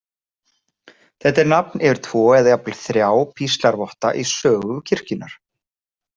Þetta er nafn yfir tvo, eða jafnvel þrjá, píslarvotta í sögu kirkjunnar.